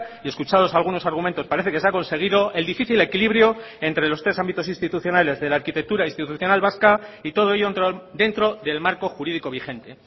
y escuchados algunos argumentos parece que se ha conseguido el difícil equilibrio entre los tres ámbitos institucionales de la arquitectura institucional vasca y todo ello dentro del marco jurídico vigente